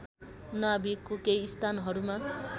नाभिकको केही स्थानहरूमा